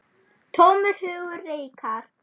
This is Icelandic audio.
Tómur hugur reikar.